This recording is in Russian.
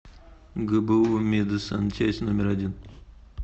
гбу медсанчасть номер один